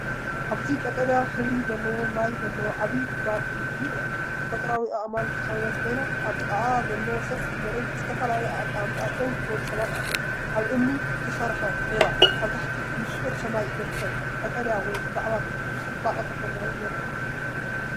ኣብዚ ቀጠልያ ሕብሪ ዘለዎ ማይ ዘለዎ ዓቢ ጉድጓድ እምኒ ይርአ። ብተፈጥሮኣዊ ኣእማን ዝተኸበበት ኮይና፡ኣብ ጥቓኣ ዘሎ ሰፊሕ መሬትን ብዝተፈላለየ ኣቀማምጣ ደው ዝበሉ ሰባት ኣለዉ። ኣብ ብእምኒ ዝተሰርሐ ዒላ፡ኣብ ትሕቲ ንጹር ሰማይ ዝርከብ ቀጠልያ ማይ፡ብዛዕባ ጽባቐ ተፈጥሮ የርኢ።